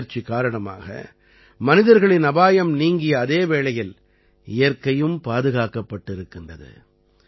இந்த முயற்சி காரணமாக மனிதர்களின் அபாயம் நீங்கிய அதே வேளையில் இயற்கையும் பாதுகாக்கப்பட்டிருக்கிறது